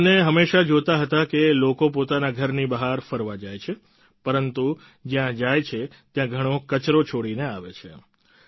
આ બંને હંમેશા જોતા હતા કે લોકો પોતાના ઘરની બહાર ફરવા જાય છે પરંતુ જ્યાં જાય છે ત્યાં ઘણો કચરો છોડીને આવે છે